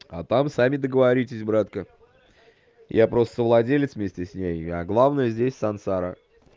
а там сами договоритесь братка я просто владелец вместе с ней а главная здесь сансара